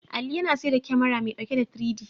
Ali yana saida kyamara mai ɗauke da 3-D.